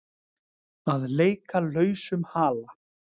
Að leika lausum hala